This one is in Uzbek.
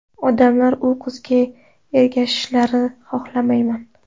Odamlar u qizga ergashishlarini xolamayman.